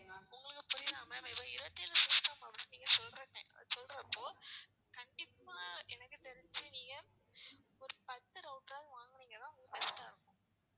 உங்களுக்கு புரியுதா ma'am இப்போ இருபத்தேழு system வந்து நீங்க சொல்றீங்க சொல்றப்போ கண்டிப்பா எனக்கு தெரிஞ்சி நீங்க ஒரு பத்து router ஆவது வாங்குனீங்கன்னா best ஆ இருக்கும்.